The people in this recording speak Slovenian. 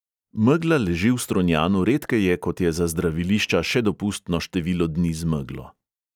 Megla leži v strunjanu redkeje, kot je za zdravilišča še dopustno število dni z meglo.